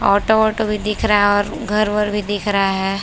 Auto वाटो भी दिख रहा और घर बरभी दिख रहा है।